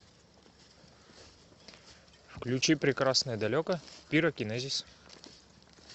включи прекрасное далеко пирокинезис